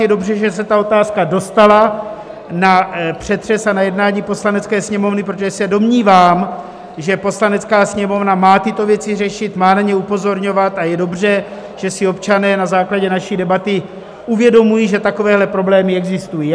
Je dobře, že se ta otázka dostala na přetřes a na jednání Poslanecké sněmovny, protože se domnívám, že Poslanecká sněmovna má tyto věci řešit, má na ně upozorňovat, a je dobře, že si občané na základě naší debaty uvědomují, že takovéhle problémy existují.